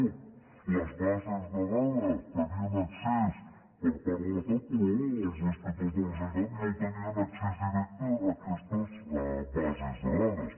a les bases de dades hi tenien accés per part de l’estat però els inspectors de la generalitat no tenien accés directe a aquestes bases de dades